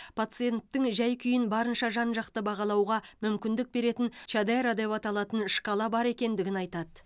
пациенттің жай күйін барынша жан жақты бағалауға мүмкіндік беретін чадера деп аталатын шкала бар екендігін айтады